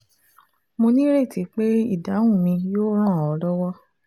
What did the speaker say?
Mo ní ìrètí pé ìdáhùn mi yóò ràn ọ́ lọ́wọ́